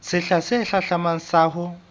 sehla se hlahlamang sa ho